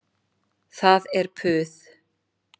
Það er puð.